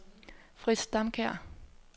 Frits Damkjær